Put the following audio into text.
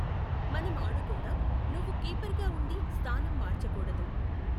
మనం ఆడుకుందాం, నువ్వు కీపర్గా ఉండి స్థానం మార్చకూడడు